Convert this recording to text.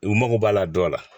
U mago b'a la dɔ la